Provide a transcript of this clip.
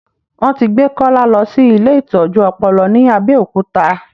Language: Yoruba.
Wọn ti gbé Kọ́lá lọ sí ilé ìtọ́jú ọpọlọ ní Abẹ́òkúta